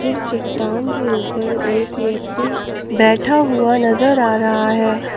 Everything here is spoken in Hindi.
जिस चट्टान के ऊपर एक व्यक्ति बैठा हुआ नजर आ रहा है।